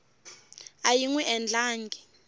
a yi n wi endlangi